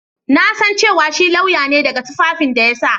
Na san cewa shi lauya ne daga tufafin da ya sa.